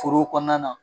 Foro kɔnɔna na